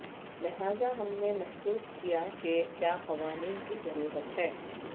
لہذا ہم نے محسوس کیا کہ کیا قوانین کی ضرورت ہے